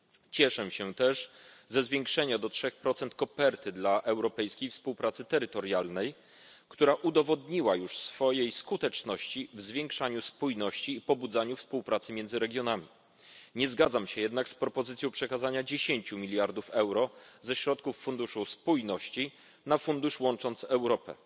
Cieszę się też ze zwiększenia do 3 koperty dla Europejskiej Współpracy Terytorialnej, która udowodniła już swoją skuteczność w zwiększaniu spójności i pobudzaniu współpracy między regionami. Nie zgadzam się jednak z propozycją przekazania 10 mld euro ze środków Funduszu Spójności na instrument Łącząc Europę.